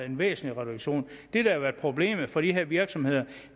en væsentlig reduktion det der har været problemet for de her virksomheder